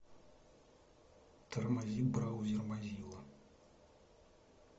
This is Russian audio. тормозит браузер мозилла